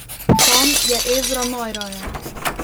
Tam je Ezra najraje.